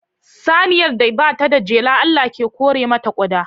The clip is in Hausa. Saniyar da ba ta da jela, Allah ke kore mata ƙuda.